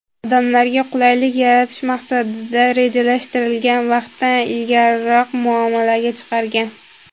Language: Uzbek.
odamlarga qulaylik yaratish maqsadida rejalashtirilgan vaqtdan ilgariroq muomalaga chiqargan.